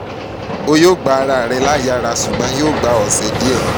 o yoo gba ara rẹ laiyara ṣugbọn yoo gba ọsẹ diẹ ninu ilana yii